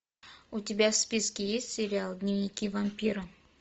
у тебя в списке есть сериал дневники вампира